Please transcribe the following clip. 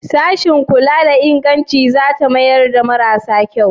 Sashin kula da inganci za ta mayar da marasa kyau?